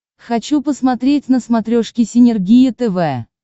хочу посмотреть на смотрешке синергия тв